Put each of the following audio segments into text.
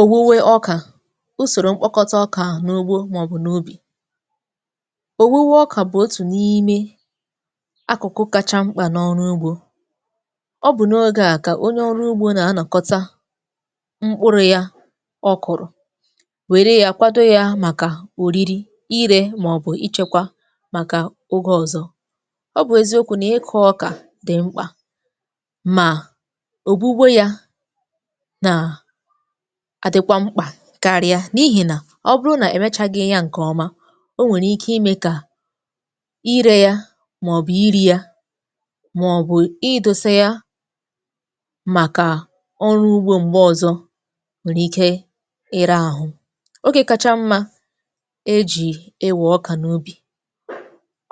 Owuwe ọka, usoro mkpokọta ọka n’ugbo ma ọ bụ n’ubi. Owuwe ọka bụ otu n’ime akụkụ kacha mkpa n’ọrụ ugbo. Ọ bụ n’oge a ka onye ọrụ ugbo na anakọta mkpụrụ ya ọ kụrụ, were ya kwado ya maka oriri, ire ma ọ bụ ichekwa maka oge ọzọ. Ọ bụ eziokwu na ịkụ ọka dị mkpa, ma owuwe ya na adịkwa mkpa karịa n’ihi na ọ bụrụ na emechaghị ya nke ọma, o nwere ike ime ka ire ya ma ọ bụ iri ya, ma ọ bụ idosa ya maka ọrụ ugbo mgbe ọzọ nwere ike ira ahụ. Oge kacha mma e ji e we ọka n’ubi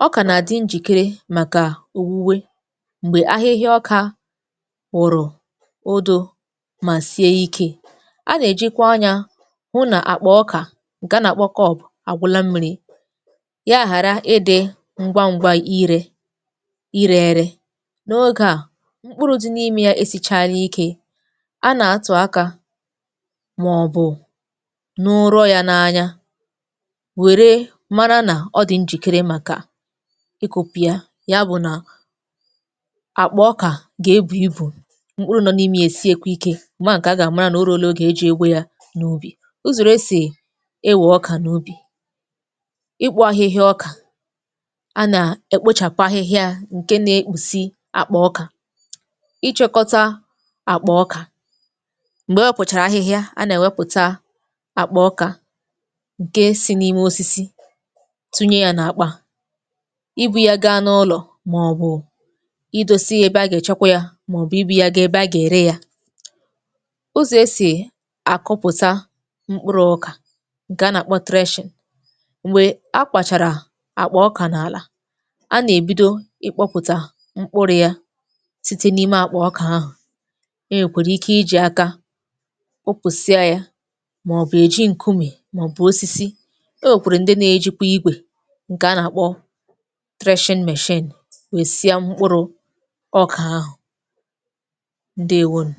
ọka na adị njikere maka owuwe mgbe ahịhịa ọka wụrụ odo ma sie ike. A na-ejikwa anya hụ na akpa ọka nke a na-akpọ corb agwụla mmiri ya ghara ịdị ngwa ngwa ire ire ere. N’oge a, mkpụrụ dị n’ime ya esichaala ike. A na-atụ aka ma ọ bụ nụ ụrọ ya n’anya were mara na ọ dị njìkere maka ikụpu ya. Ya bụ na akpa ọka ga-ebu ibu, mkpụrụ nọ n’ime ya esiekwa ike, mara nke a ga-amarakwa nke a ga-amara ma na o ruola oge e ji egbu ya n’ubi. Usoro e si e we ọka n’ubi. ịkpu ahịhịa ọka; a na-ekpochapụ ahịhịa ya, nke na-ekpusi akpa ọka. Ịchekọta akpa ọka mgbe ọ ewepụchara ahịhịa, a na-ewepụcha akpa ọka nke si n’ime osisi tụnye ya na akpa, ibu ya gaa n’ụlọ ma ọ bụ ịdosa ya ebe a ga-echekwa ya ma ọ bụ ibu ya gaa ebe a ga ere ya. Ụzọ e si akụpụta mkpụrụ ọka nke a na-akpọ thresha: mgbe a kpachara akpọ ọka n’ala, a na-ebido ikpọpụta mkpụrụ ya site n’ime akpa ọka ahụ. E nwekwara ike iji aka kụpụsịa ya, ma ọ bụ e ji nkume ma ọ bụ osisi. E nwekwara ndi na-ejikwa igwe nke a na-akpọ threshing machine wesịa mkpụrụ ọka ahụ. Ndewo nu.